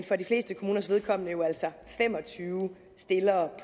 for de fleste kommuners vedkommende altså fem og tyve stillere